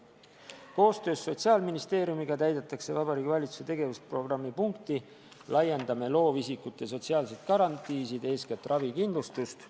Koostöös Sotsiaalministeeriumiga täidetakse Vabariigi Valitsuse tegevusprogrammi punkti "Laiendame loovisikute sotsiaalseid garantiisid, eeskätt ravikindlustust".